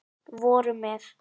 voru með